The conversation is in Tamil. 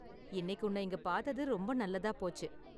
இன்னைக்கு உன்ன இங்க பார்த்தது ரொம்ப நல்லதா போச்சு.